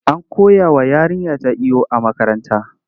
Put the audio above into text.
An koyawa yarinyata iyo a makaranta.